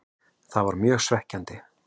Það var mjög svekkjandi.